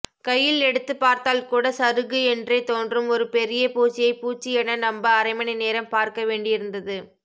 கையில் எடுத்துப்பார்த்தால்கூட சருகு என்றே தோன்றும் ஒரு பெரிய பூச்சியை பூச்சி என நம்ப அரைமணிநேரம் பார்க்கவேண்டியிருந்தது